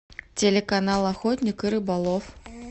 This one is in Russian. телеканал охотник и рыболов